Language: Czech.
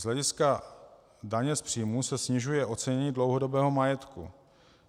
Z hlediska daně z příjmů se snižuje ocenění dlouhodobého majetku.